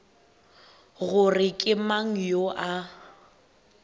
gore ke mang yo a